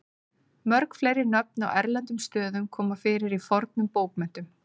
Mörg fleiri nöfn á erlendum stöðum koma fyrir í fornum bókmenntum.